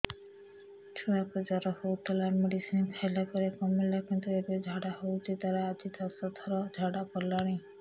ଛୁଆ କୁ ଜର ହଉଥିଲା ମେଡିସିନ ଖାଇଲା ପରେ କମିଲା କିନ୍ତୁ ଏବେ ଝାଡା ହଉଚି ତାର ଆଜି ଦଶ ଥର ଝାଡା କଲାଣି